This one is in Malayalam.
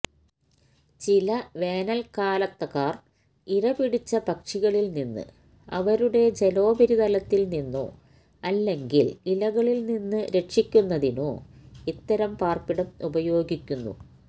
ചില വേനൽക്കാലത്തക്കാർ ഇരപിടിച്ച പക്ഷികളിൽ നിന്ന് അവരുടെ ജലോപരിതലത്തിൽ നിന്നോ അല്ലെങ്കിൽ ഇലകളിൽ നിന്ന് രക്ഷിക്കുന്നതിനോ ഇത്തരം പാർപ്പിടം ഉപയോഗിക്കുന്നു